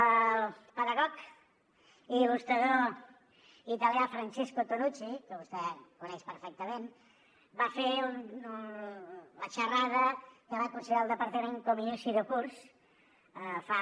el pedagog i il·lustrador italià francesco tonucci que vostè coneix perfectament va fer la xerrada que va considerar el departament com a inici de curs fa